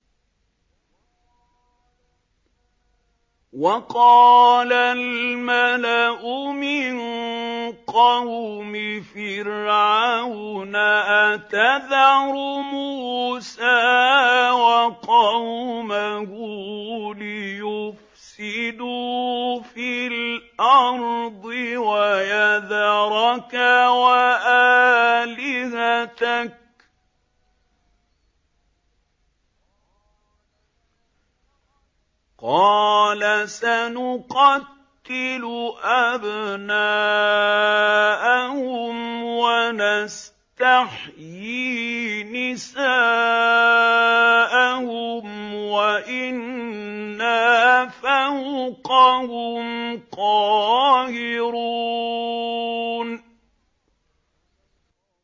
وَقَالَ الْمَلَأُ مِن قَوْمِ فِرْعَوْنَ أَتَذَرُ مُوسَىٰ وَقَوْمَهُ لِيُفْسِدُوا فِي الْأَرْضِ وَيَذَرَكَ وَآلِهَتَكَ ۚ قَالَ سَنُقَتِّلُ أَبْنَاءَهُمْ وَنَسْتَحْيِي نِسَاءَهُمْ وَإِنَّا فَوْقَهُمْ قَاهِرُونَ